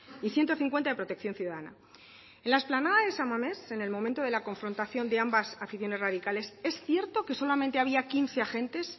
y ciento cincuenta de protección ciudadana en la explanada de san mamés en el momento de la confrontación de ambas aficiones radicales es cierto que solamente había quince agentes